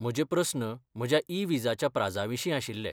म्हजे प्रस्न म्हज्या ई विजाच्या प्राझाविशीं आशिल्ले.